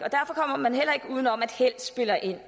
uden om at held spiller ind